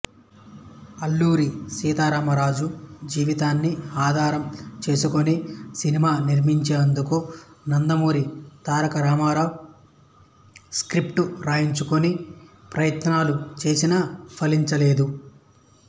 అల్లూరి సీతారామరాజు జీవితాన్ని ఆధారం చేసుకుని సినిమా నిర్మించేందుకు నందమూరి తారక రామారావు స్క్రిప్ట్ రాయించుకుని ప్రయత్నాలు చేసినా ఫలించలేదు